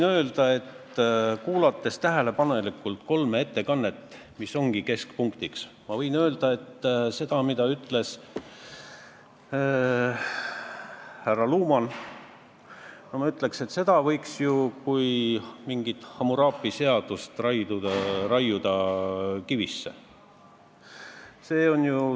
Olles kuulanud tähelepanelikult kolme ettekannet, mis ongi teema keskpunktiks, ma ütleksin, et seda, mida ütles härra Luman, võiks ju raiuda kivisse nagu mingi Hammurapi seaduse.